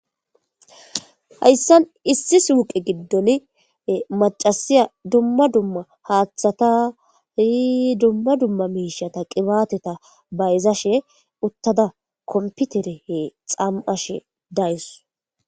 Haysan issi suyqe gidon macasiya dumma dumma hathata dumma dumma mishata qibateta bayzashe utada competer xam'ashe dawus